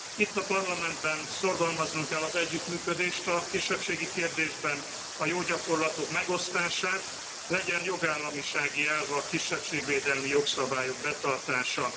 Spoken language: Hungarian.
Itt, a Parlamentben szorgalmaznunk kell az együttműködést a kisebbségi kérdésben, a jó gyakorlatok megosztását, legyen jogállamisági elv a kisebbségvédelmi jogszabályok betartása.